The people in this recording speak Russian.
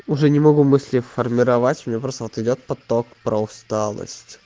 уже не могу быстрей формировать у меня просто вот идёт поток про усталость